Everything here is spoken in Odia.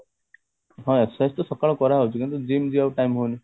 ହଁ exercise ତ ସକାଳେ କରା ହଉଛି କିନ୍ତୁ gym ଯିବାକୁ time ହଉନି